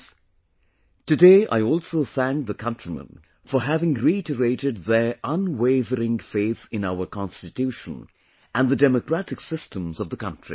Friends, today I also thank the countrymen for having reiterated their unwavering faith in our Constitution and the democratic systems of the country